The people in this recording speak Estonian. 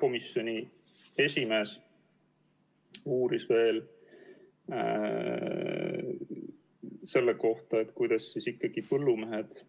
Komisjoni esimees uuris veel täiendavalt selle kohta, kas põllumehed